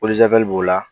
b'o la